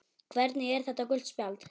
Hvernig er þetta gult spjald?